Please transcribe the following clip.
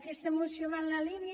aquesta moció va en la línia